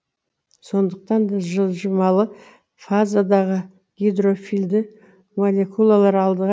сондықтан да жылжымалы фазадағы гидрофильді молекулалар алдыға